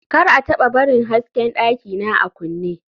kar a taba barin hasken dakina a kunne